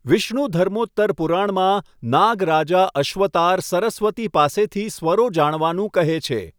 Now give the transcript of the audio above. વિષ્ણુધર્મોત્તર પુરાણમાં, નાગ રાજા અશ્વતાર સરસ્વતી પાસેથી સ્વરો જાણવાનું કહે છે.